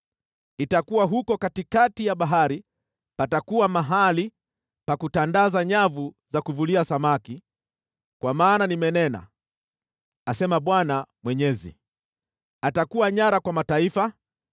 Itakuwa huko katikati ya bahari patakuwa mahali pa kutandaza nyavu za kuvulia samaki, kwa maana nimenena, asema Bwana Mwenyezi. Atakuwa nyara kwa mataifa,